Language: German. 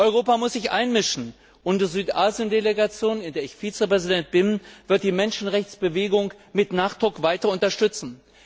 Europa muss sich einmischen, und die Südasien Delegation, in der ich Vizepräsident bin, wird die Menschenrechtsbewegung mit Nachdruck weiter unterstützen.